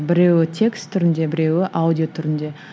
біреуі текст түрінде біреуі аудио түрінде